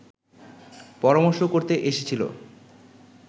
পরামর্শ করতে এসেছিল